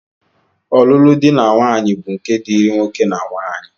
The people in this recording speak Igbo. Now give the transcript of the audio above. Ọlụlụ dị na nwaanyị bụ nke dịịrị nwoke na nwaanyị